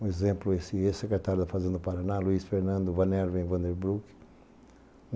Um exemplo, o ex-secretário da Fazenda do Paraná, Luiz Fernando Vanerva, em Vanderbroek.